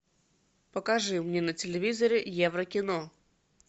покажи мне на телевизоре евро кино